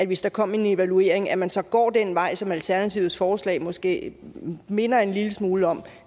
hvis der kom en evaluering at man så går den vej som alternativets forslag måske minder en lille smule om